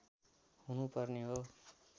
हुनुपर्ने हो